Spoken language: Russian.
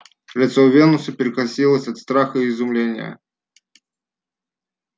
лицо венуса перекосилось от страха и изумления